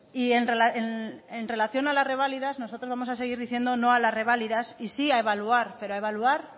y en relación a las reválidas nosotros vamos a seguir diciendo no a las reválidas y sí a evaluar pero evaluar